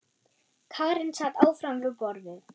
Karen sat áfram við borðið.